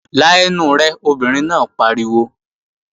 La ẹnu rẹ, obìnrin náà pariwo!